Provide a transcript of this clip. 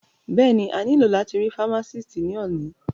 Bẹ́ẹ̀ni, a ní lò láti rí fámásìtì ní òní